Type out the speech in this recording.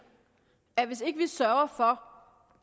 at hvis ikke vi sørger for